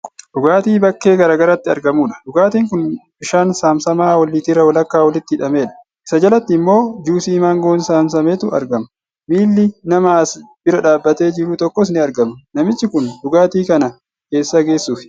Dhugaatii bakkee garaagaraatti argamudha. Dhugaatiin kun bishaan saamsamaa liitira walakkaa walitti hidhamedha. Isa jalatti immoo juusii maangoo saamsametu argama. Miilli nama as bira dhaabbatee jiru tokkoos ni argama. Namichi kun dhugaatii kana eessa geessuufi?